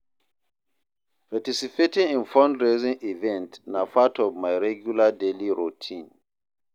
Participating in fundraising events na part of my regular daily routine.